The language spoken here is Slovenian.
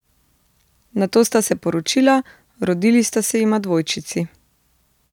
Nato sta se poročila, rodili sta se jima dvojčici.